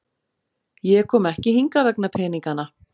Ég kom ekki hingað vegna peningana.